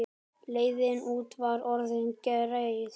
Leiðin út var orðin greið.